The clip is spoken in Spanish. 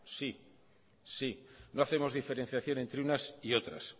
sí sí no hacemos diferenciación entre unas y otras